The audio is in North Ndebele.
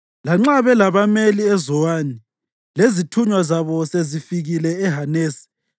Lanxa belabameli eZowani, lezithunywa zabo sezifikile eHanesi,